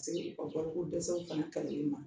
Segu dɛsɛw kaleli ma